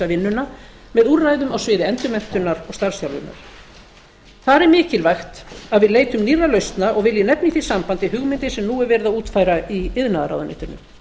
vinnuna með úrræðum á sviði endurmenntunar og starfsþjálfunar þar er mikilvægt að við leitum nýrra lausna og vil ég nefna í því sambandi hugmyndir sem nú er verið að útfæra í iðnaðarráðuneytinu